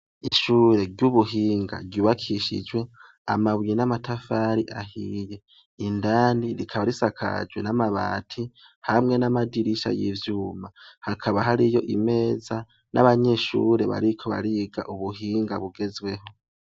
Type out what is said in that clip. Ishure ry'ubuhinga ryubakishijwe amabuye n'amatafari ahiye indani rikaba risakajwe n'amabati hamwe n'amadirisha y'ivyuma hakaba hariyo imeza n'abanyeshure bariko bariga ubuhinga bugezweho.